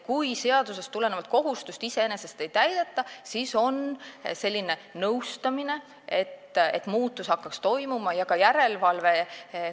Kui seadusest tulenevat kohustust ei täideta, siis kasutatakse nõustamist, et muutus hakkaks toimuma, ja ka järelevalvet.